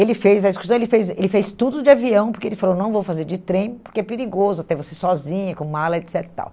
Ele fez a excursão, ele fez ele fez tudo de avião, porque ele falou, não vou fazer de trem, porque é perigoso, até você sozinha, com mala, et cetera e tal.